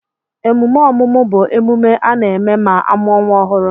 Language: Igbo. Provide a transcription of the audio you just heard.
Emume ọmụmụ bụ emume a na-eme ma amuo nwa ọhụru